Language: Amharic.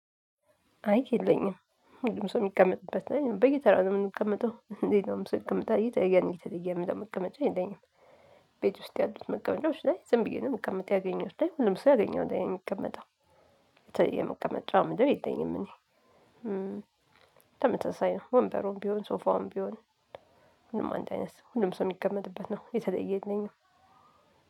አይ የለኝም ሁሉም ሰው ሚቀመጥበት ላይ በየተራ ነው ምንቀመጠው ሌላውም ሰው ይቀመጣል የተለየ መቀመጫ የለኝም። ቤት ውስጥ ያሉት መቀመጫዎች ላይ ዝም ብዬ ነው ምቀመጠው ያገኘሁት ላይ ሁሉም ሰው ያገኘው ላይ ነው ሚቀመጠው። የተለየ መቀመጫ ምለው የለኝም። እኔ ተመሳሳይ ነው ወንበሩም ቢሆን ሶፋውም ቢሆን። ሁሉም አንድ አይነት ሰው ሁሉም ሰው ሚቀመጥበት ነው የተለየ የለኝም።